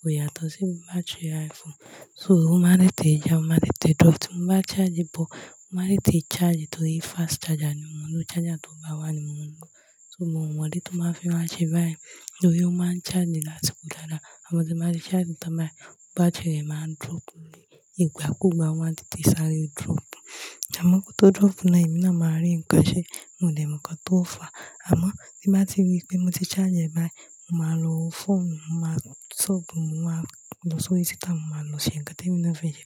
kò yàtọ̀ sí battery iPhone. So, ó máa ń tètè já, ó máa ń tètè drop. Ti mo bá charge but, ó máa tètè charge nítorí fast charger ni mo ń lò. Charger tó bá wà ni mo ń lò. So, mi o mo ìdí tó máa fi máa ṣe bee torí ó máa ń charge lásìkò dáadáa. Àmọ́ tí ẹ máa ṣe charge tán báyìí, battery rẹ̀ máa ń drop ni. Ìgbà kú ìgbà máa ń tètè sáré drop.àmó kó tó drop náà, èmi náà máa rí nǹkan ṣe. Mo dẹ̀ mọ̀ nǹkan tó fà á, àmọ́ bí bá ti rí pé mo ti charge báyìí, mo máa lo foonu, mo máa sub, mo máa lọ sórí tweeter, mo máa lọ ṣe ǹkan tí èmi máa fi ṣe